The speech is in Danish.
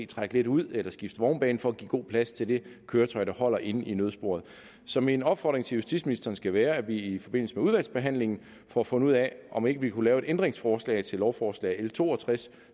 trække lidt ud eller skifte vognbane for at give god plads til det køretøj der holder inde i nødsporet så min opfordring til justitsministeren skal være at vi i forbindelse med udvalgsbehandlingen får fundet ud af om ikke vi kunne lave et ændringsforslag til lovforslag nummer l to og tres